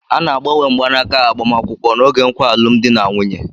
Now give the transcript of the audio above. A na-agbanwe mgbanaka agbamakwụkwọ n'oge nkwa alụmdi na nwunye